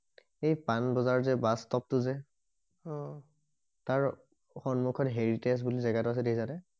এই পানবজাৰ যে বাচ ষ্টপটো যে অ তাৰ সন্মুখত হেৰিতেজ বুলি জেগা এটা আছে দেখিছানে